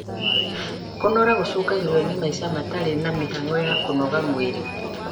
Kũnora gũcũngagĩrĩrio nĩ maica matarĩ na mĩhang'o ya kũnogora mwĩrĩ